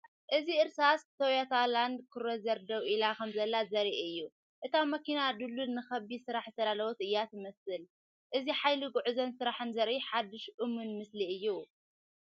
እዚ እርሳስ ቶዮታ ላንድ ክሩዘር ደው ኢላ ከምዘላ ዘርኢ እዩ። እታ መኪና ድልዱልን ንኸቢድ ስራሕ ዝተዳለወትን እያ ትመስል። እዚ ሓይሊ ጉዕዞን ስራሕን ዘርኢ ሓድሽ እሙን ምስሊ እዩ።